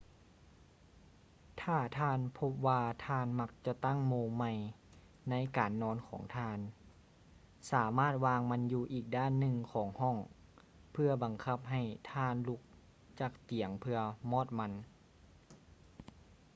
ຖ້າທ່ານພົບວ່າທ່ານມັກຈະຕັ້ງໂມງໃໝ່ໃນການນອນຂອງທ່ານ ສາມາດວາງມັນຢູ່ອີກດ້ານໜຶ່ງຂອງຫ້ອງ ເພື່ອບັງຄັບໃຫ້ທ່ານລຸກຈາກຕຽງເພື່ອມອດມັນ